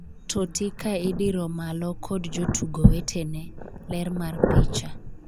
Totti ka idiro malo kod jotugo wetene ,ler mar picha